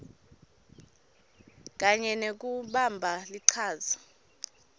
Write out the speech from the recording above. kanye nekubamba lichaza